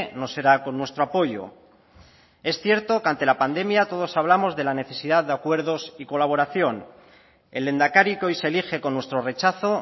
no será con nuestro apoyo es cierto que ante la pandemia todos hablamos de la necesidad de acuerdos y colaboración el lehendakari que hoy se elige con nuestro rechazo